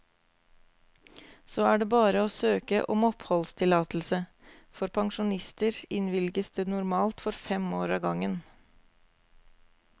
Så er det bare å søke om oppholdstillatelse, for pensjonister innvilges det normalt for fem år av gangen.